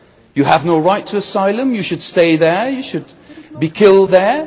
You have no right to asylum, you should stay there, you should be killed there?